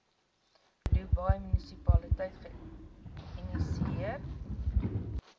dubai munisipaliteit geïnisieer